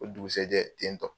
O dugusajɛ ten tɔ